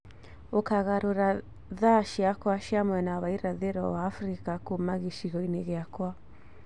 Ũkagarũra thaa ciakwa cia mwena wa irathĩro wa africa kuuma gicigo-inĩ giakwa